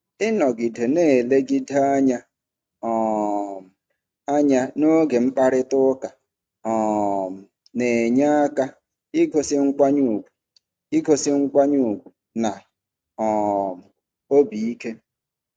Ịnọgide na-elegide anya um anya n'oge mkparịta ụka um na-enye aka igosi nkwanye ùgwù igosi nkwanye ùgwù na um obi ike.